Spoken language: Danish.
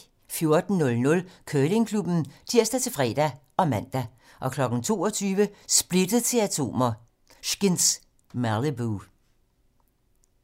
14:00: Curlingklubben (tir-fre og man) 22:00: Splittet til atomer - Skinz: Malibu